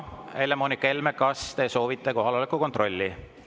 Helle-Moonika Helme, kas te soovite kohaloleku kontrolli?